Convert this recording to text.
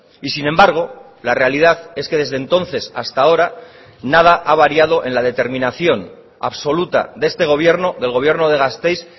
y sin embargo la realidad es que desde entonces hasta ahora nada ha variado en la determinación absoluta de este gobierno del gobierno de gasteiz